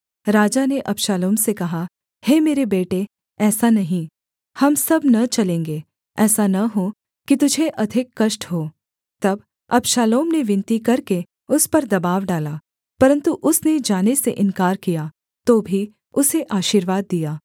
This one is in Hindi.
राजा ने अबशालोम से कहा हे मेरे बेटे ऐसा नहीं हम सब न चलेंगे ऐसा न हो कि तुझे अधिक कष्ट हो तब अबशालोम ने विनती करके उस पर दबाव डाला परन्तु उसने जाने से इन्कार किया तो भी उसे आशीर्वाद दिया